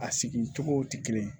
A sigi cogo tɛ kelen ye